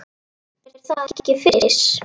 Er það ekki Fis?